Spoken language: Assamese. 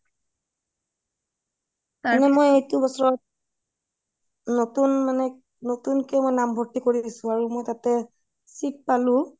তাৰ মানে মই এইটো বছৰত নতুন মানে নতুন কে নাম ভৰ্তি কৰিছোঁ আৰু তাতে seat পালোঁ